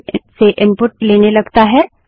इसके बजाय स्टैन्डर्डइन से इनपुट लेने लगता है